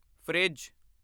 fridge